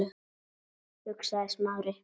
hugsaði Smári.